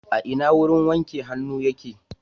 A ina wurin wanke hannu yake.